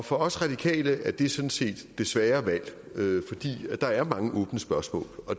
for os radikale er det sådan set det svære valg fordi der er mange åbne spørgsmål